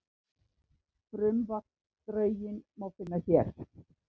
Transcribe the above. Frumvarpsdrögin má finna hér